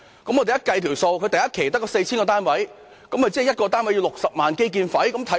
我們計算過，若首期只興建 4,000 個單位，即1個單位需要60萬元的基建費。